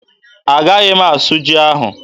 Agaghị m asụ ji ahụ.